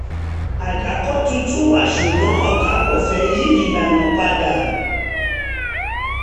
àdàkọ tuntun wà ṣùgbọ́n ọ̀gá kò fẹ́ yí ìlànà padà